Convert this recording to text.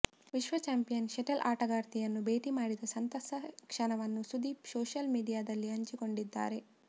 ವಿಶ್ವ champion shuttle ಆಟಗಾರ್ತಿಯನ್ನು ಭೇಟಿ ಮಾಡಿದ ಸಂತಸ ಕ್ಷಣವನ್ನು ಸುದೀಪ್ ಸೋಶಿಯಲ್ ಮಿಡಿಯಾದಲ್ಲಿ ಹಂಚಿಕೊಂಡಿದ್ದಾರೆ